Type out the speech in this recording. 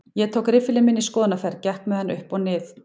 Ég tók riffilinn minn í skoðunarferð, gekk með hann upp og nið